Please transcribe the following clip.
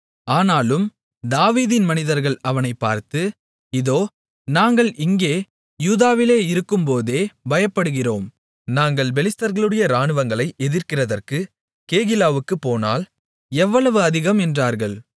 ஆனாலும் தாவீதின் மனிதர்கள் அவனை பார்த்து இதோ நாங்கள் இங்கே யூதாவிலே இருக்கும்போதே பயப்படுகிறோம் நாங்கள் பெலிஸ்தர்களுடைய இராணுவங்களை எதிர்க்கிறதற்கு கேகிலாவுக்குப் போனால் எவ்வளவு அதிகம் என்றார்கள்